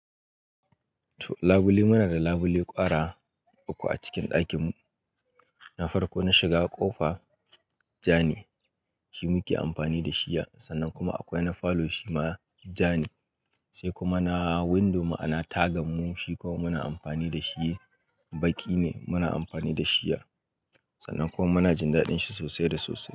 Labule, muna da labule ƙwara uku a cikin ɗakin mu. Na farko na shiga ƙofa, ja ne, shi muke amfani da shi. Sannan kuma akwai na falo shi ma ja ne. Sai kuma na window ma'ana taga mun, shi kuma muna amfani da shi, baƙi ne muna amfani da shi. Sannan kuma muna jin daɗin shi sosai da sosai.